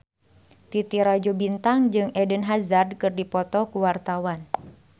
Titi Rajo Bintang jeung Eden Hazard keur dipoto ku wartawan